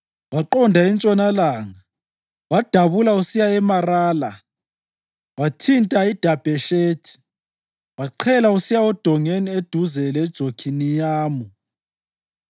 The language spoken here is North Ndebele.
Waqonda entshonalanga wadabula usiya eMarala, wathinta iDabheshethi, waqhela usiya odongeni eduze leJokhiniyamu.